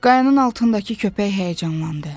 Qayanın altındakı köpək həyəcanlandı.